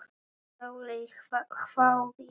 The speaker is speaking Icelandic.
Sóley hváði.